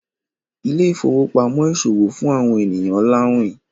Ile-ifowopamọ ìṣòwò fún awọn ènìyàn lawin.